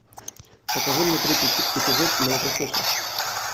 покажи мне третий эпизод молокососов